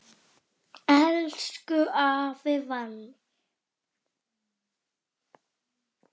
Elsku afi Valli!